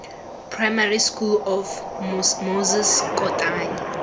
primary school of moses kotane